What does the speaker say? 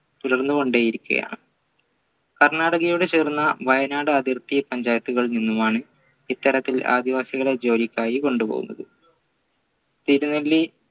തുടർന്നുകൊണ്ടിരിക്കയാണ് കർണാടകയോട് ചേർന്ന വയനാട് അതിർത്തി പഞ്ചായത്തുകളിൽ നിന്നും ആണ് ഇത്തരത്തിൽ ആദിവാസികളെ ജോലിക്കായി കൊണ്ടുപോകുന്നത തിരുനെല്ലി